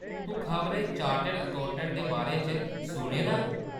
तूं खबरै chartered accountant दे बारे च सुने दा ऐ ?